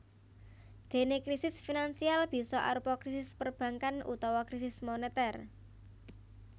Déné krisis finansial bisa arupa krisis perbankan utawa krisis monetèr